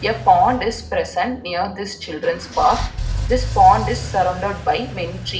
A pond is present near this children's park this pond is surrounded by many tree --